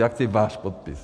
Já chci váš podpis.